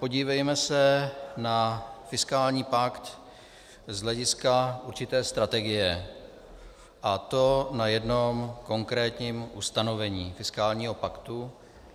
Podívejme se na fiskální pakt z hlediska určité strategie, a to na jednom konkrétním ustanovení fiskálního paktu.